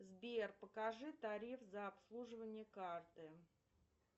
сбер покажи тариф за обслуживание карты